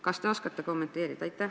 Kas te oskate kommenteerida?